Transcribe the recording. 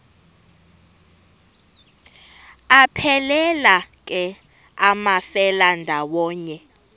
aphelela ke amafelandawonye